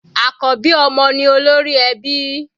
Àkọ́bí ọmọ ni olórí ẹbí.